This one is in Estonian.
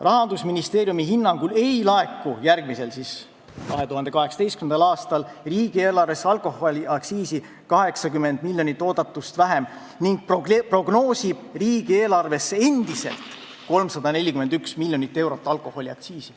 " Rahandusministeeriumi hinnangul ei laeku järgmisel aastal riigieelarvesse alkoholiaktsiisi 80 miljonit eurot oodatust vähem ning prognoosib riigieelarvesse endiselt 341 miljonit eurot alkoholiaktsiisi.